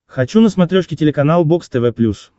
хочу на смотрешке телеканал бокс тв плюс